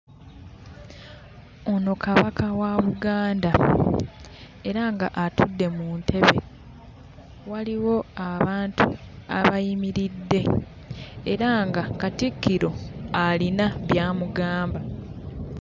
Ono Kabaka wa Buganda era ng'atudde mu ntebe. Waliwo abantu abayimiridde era nga Katikkiro alina by'amugamba.